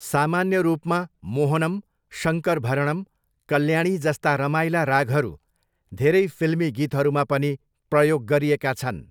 सामान्य रूपमा, मोहनम, शङ्करभरणम्, कल्याणी जस्ता रमाइला रागहरू धेरै फिल्मी गीतहरूमा पनि प्रयोग गरिएका छन्।